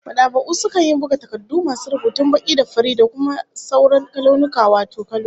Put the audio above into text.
Mad'aba'u sukan iya buga takardu masu rubutun baki da farin, ko kuma da sauran launuka wato kaloli